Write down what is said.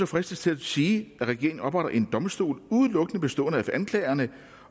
fristes til at sige at regeringen hermed opretter en domstol udelukkende består af anklagere